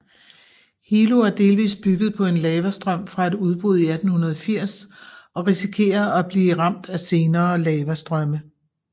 Hilo er delvis bygget på en lavastrøm fra et udbrud i 1880 og risikerer at blive ramt af senere lavastrømme